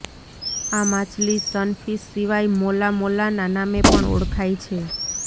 આ માછલી સનફીશ સિવાય મોલા મોલાના નામે પણ ઓળખાય છે